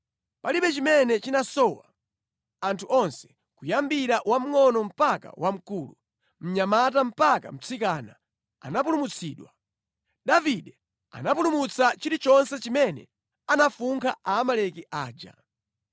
Palibe chimene chinasowa anthu onse, kuyambira wamngʼono mpaka wamkulu, mnyamata mpaka mtsikana anapulumutsidwa. Davide anapulumutsa chilichonse chimene anafunkha Aamaleki aja.